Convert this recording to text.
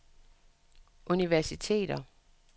universiteter